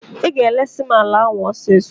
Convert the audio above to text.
Ị ga-eresi m ala ahụ ọsịsọ!